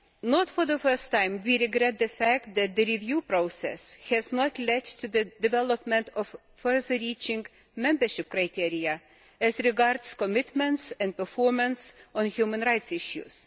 Not for the first time, we regret the fact that the review process has not led to the development of further reaching membership criteria as regards commitments and performance on human rights issues.